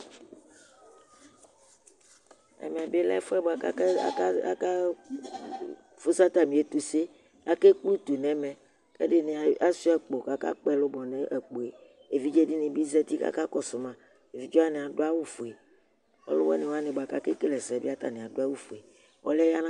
ɛmɛ bi lɛ ɛfʋɛ bʋakʋ aka aka aka fʋsʋ atami ɛtʋsɛ akaplɛ ʋtʋ nɛmɛ kʋ ɛdini a swiya akpo aka kpɔ ɛlʋbɔ nʋ akpoɛ ɛvidzɛ dini bi zɛti kʋ aka kɔsʋ ma ɛvidzɛ wani adʋ awʋ fʋɛ ɔlʋwini wani bʋa kʋ akɛ kɛlɛ ɛsɛ bi adʋ awu fʋɛ ɔliɛ ya